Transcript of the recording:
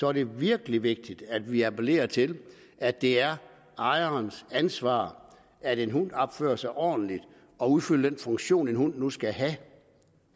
er det virkelig vigtigt at vi appellerer til at det er ejerens ansvar at en hund opfører sig ordentligt og udfylder den funktion en hund nu skal have